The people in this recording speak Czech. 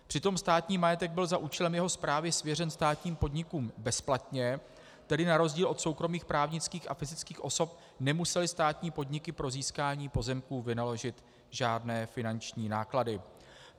Přitom státní majetek byl za účelem jeho správy svěřen státním podnikům bezplatně, tedy na rozdíl od soukromých právnických a fyzických osob nemusely státní podniky pro získání pozemků vynaložit žádné finanční náklady.